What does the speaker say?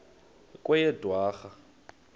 kweyedwarha